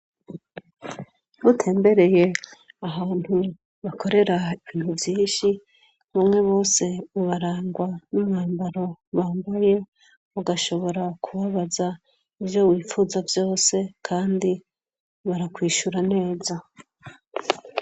Butembereye ahantu bakorera ibintu vyinshi umwe bose bubarangwa n'umwambaro bambaye ugashobora kubabaza ivyo wifuza vyose, kandi barakwishura neza.